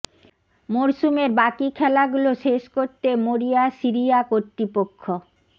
মরসুমের বাকি খেলা গুলো শেষ করতে মরিয়া সিঁরি আ কর্তৃপক্ষ